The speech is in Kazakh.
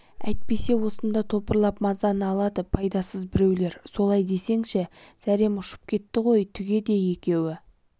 әйтпесе осында топырлап мазаны алады пайдасыз біреулер солай десеңші зәрем ұшып кетті ғой түге де екеуі